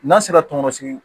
N'an sera tɔnbɔsigi